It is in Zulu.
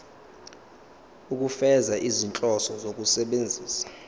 ukufeza izinhloso zokusebenzisa